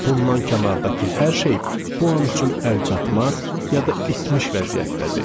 Bundan kənardakı hər şey bu an üçün əlçatmaz, ya da itmiş vəziyyətdədir.